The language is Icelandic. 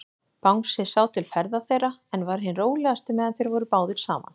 Bangsi sá til ferða þeirra, en var hinn rólegasti, meðan þeir voru báðir saman.